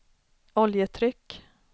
oljetryck